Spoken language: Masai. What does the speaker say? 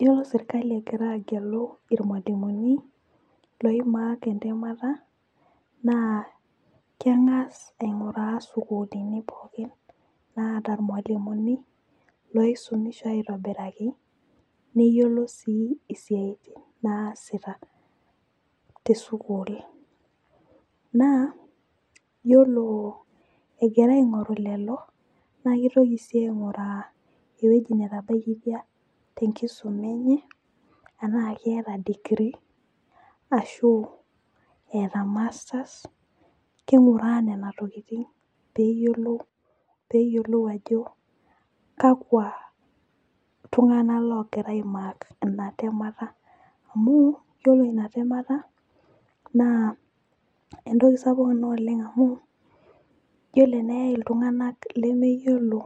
iyiolo serkali egira agelu ilmalimuni li mark entemata, naa keng'as ainguraa sukuulini pookin naata irmaliuni loisumiiso aitobiraki, neyiolo sii isitin naasita te sukuul .naa iyiolo egira aing'oru lelo naa kitoki sii aing'uraa ewueji netabaikitia enkisuma enye. enaa keeta degree ashu eeta masters king'uraa nena tokitin peeyiolou ajo kakua tunganak loogira ai mark ina temata, amu ore ina temata naa entoki sapuk ina oleng' amu iyiolo eneyae iltunganak lemeyiolo,